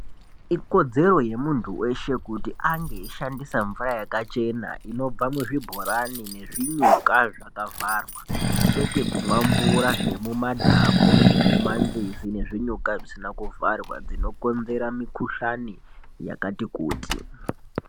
Ikodzero yemuntu weshe kuti ange eishandisa mvura yakachena inobva muzvibhorani nezvinyuka zvakavharwa kwete kumwa mvura dzemuma dhamu nemuma nzizi nemuzvinyuka zvisina kuvharwa dzinokonzera mikuhlani yakati kutii.